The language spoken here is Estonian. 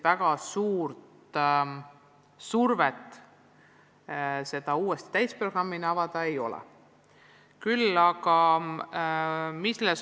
Väga suurt survet seda uuesti täisprogrammina avada ei ole.